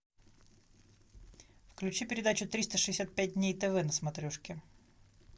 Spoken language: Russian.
включи передачу триста шестьдесят пять дней тв на смотрешке